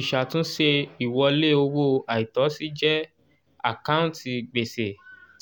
ìṣàtúnṣe ìwọlé owó àìtọ́sí jẹ́ àkántì gbèsè